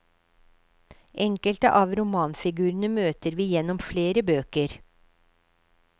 Enkelte av romanfigurene møter vi gjennom flere bøker.